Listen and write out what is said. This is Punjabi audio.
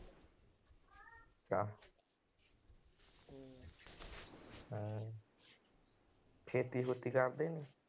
ਖੇਤੀ ਖੁਤੀ ਕਰਦੇ ਨੇ।